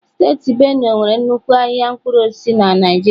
Steeti benue nwere nnukwu ahịa mkpụrụ osisi na Naịjirịa.